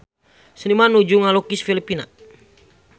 Seniman nuju ngalukis Filipina